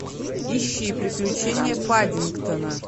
ищи приключения паддингтона